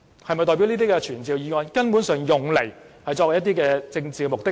是否代表這些傳召議案根本是只用作達到其政治目的？